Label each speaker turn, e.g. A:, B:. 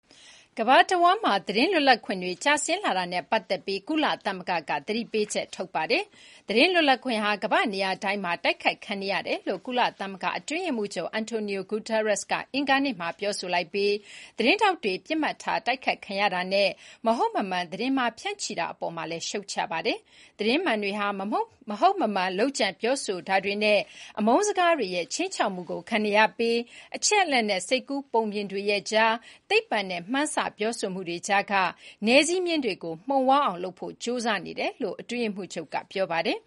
A: ကမ္ဘာတဝန်းမှာ သတင်းလွတ်လပ်ခွင့်တွေ ကျဆင်းလာတာနဲ့ပတ်သက်ပြီး ကုလသမဂ္ဂက သတိပေးချက်ထုတ်ပြန်လိုက်ပါတယ်။ သတင်းလွတ်လပ်ခွင့်ဟာ ကမ္ဘာ့နေရာတိုင်းမှာ တိုက်ခိုက်ခံနေရတယ်လို့ ကုလသမဂ္ဂ အထွေအထွေအတွင်းရေးမှူးချုပ် အန်တိုနီယို ဂူတာရက်စ်က အင်္ဂါနေ့က ပြောလိုက်ပြီး သတင်းထောက်တွေ ပစ်မှတ်ထားတိုက်ခိုက်ခံရတာနဲ့ မဟုတ်မမှန် သတင်းမှားဖြန့်ချိတာအပေါ်လည်း ရှုတ်ချလိုက်ပါတယ်။ “သတင်းမှန်တွေဟာ မဟုတ်မမှန် လုပ်ကြံပြောဆိုတာတွေနဲ့ အမုန်းစကားတွေရဲ့ ခြိမ်းခြောက်မှုကိုခံနေရပြီး အချက်အလက်နဲ့ စိတ်ကူးပုံပြင်တွေရဲ့ကြား၊ သိပ္ပံနဲ့ မှန်းဆပြောဆိုမှုတွေကြားက နယ်စည်းမျဉ်းတွေကို မှုန်ဝါးအောင်လုပ်ဖို့ ကြိုးစားနေတယ်” လို့
B: အန်တိုနီယို ဂူတာရက်စ်က ပြောပါတယ်